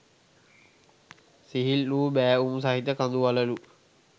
සිහිල් වූ බෑවුම් සහිත කඳු වළලු